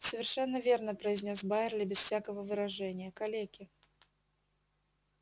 совершенно верно произнёс байерли без всякого выражения калеки